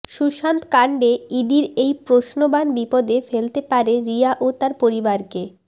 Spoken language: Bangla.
সুশান্ত কাণ্ডে ইডির এই প্রশ্নবাণ বিপদে ফেলতে পারে রিয়া ও তাঁর পরিবারকে